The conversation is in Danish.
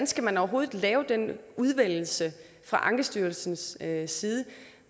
skal man overhovedet lave den udvælgelse fra ankestyrelsens side side